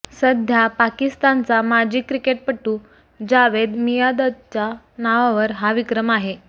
सध्या पाकिस्तानचा माजी क्रिकेटपटू जावेद मियाँदादच्या नावावर हा विक्रम आहे